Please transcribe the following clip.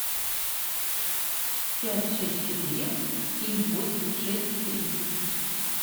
пять шесть четыре семь восемь шесть три